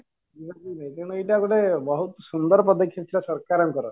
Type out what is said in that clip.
ଏଇଟା ଗୋଟେ ବହୁତ ସୁନ୍ଦର ପଦକ୍ଷେପ ଥିଲା ସରକାରଙ୍କ ର